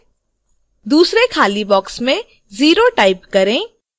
दूसरे खाली box में 0 type करें